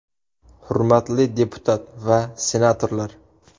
Hurmatli deputat va senatorlar!